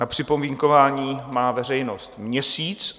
Na připomínkování má veřejnost měsíc.